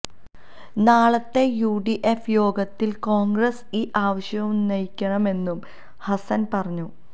നാളത്തെ U D F യോഗത്തില് കോണ്ഗ്രസ് ഈ ആവശ്യമുന്നയിക്കണമെന്നും ഹസന് പറഞ്ഞു